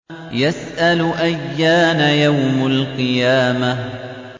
يَسْأَلُ أَيَّانَ يَوْمُ الْقِيَامَةِ